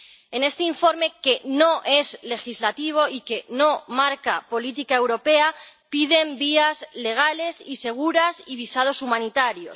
En este informe, que no es legislativo y que no marca política europea, piden vías legales y seguras y visados humanitarios